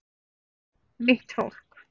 Mitt fólk